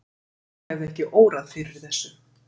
mig hefði ekki órað fyrir þessu!